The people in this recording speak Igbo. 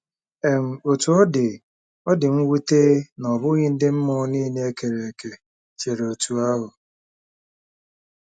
um Otú ọ dị, ọ dị mwute na ọ bụghị ndị mmụọ nile e kere eke chere otú ahụ.